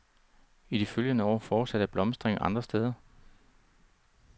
I de følgende år fortsatte blomstringen andre steder.